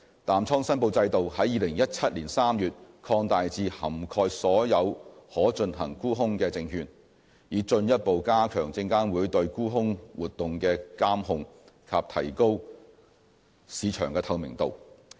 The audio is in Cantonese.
淡倉申報制度在2017年3月擴大至涵蓋所有可進行沽空的證券，以進一步加強證監會對沽空活動的監控及提高市場透明度。